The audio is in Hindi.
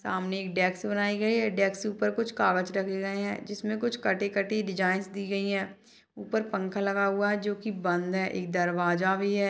सामने एक डेक्स बनाई गई है डेक्स के ऊपर कुछ कागज रखे गए है जिसमे कुछ कटी-कटी डिजाइनस दी गई है ऊपर पंखा लगा हुआ है जो कि बंद है एक दरवाजा भी है।